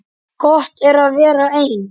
Gott er að vera einn.